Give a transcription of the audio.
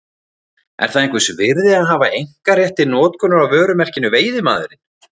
Er það einhvers virði að hafa einkarétt til notkunar á vörumerkinu Veiðimaðurinn?